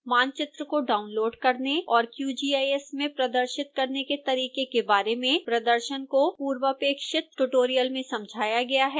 मानचित्र को डाउनलोड करने और qgis में प्रदर्शित करने के तरीके के बारे में प्रदर्शन को पूर्वापेक्षित ट्यूटोरियल में समझाया गया है